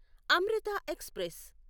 Amrutha express